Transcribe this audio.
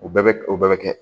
U bɛɛ bɛ kɛ o bɛɛ bɛ kɛ